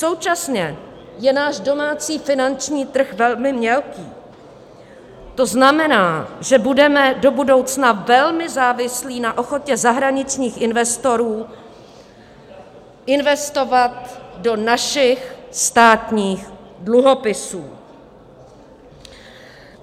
Současně je náš domácí finanční trh velmi mělký, to znamená, že budeme do budoucna velmi závislí na ochotě zahraničních investorů investovat do našich státních dluhopisů.